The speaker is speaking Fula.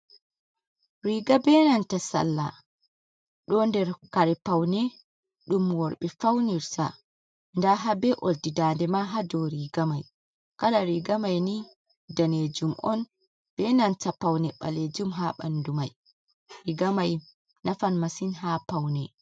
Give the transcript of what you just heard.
Riga be nanta salla, do nder kare paune ɗum worɓe faunirta, nda ha be oldi dande ma hado riga mai, kala riga mai ni danejum on be nanta paune ɓalejum, ha ɓandu mai, riga mai nafan masin ha paune.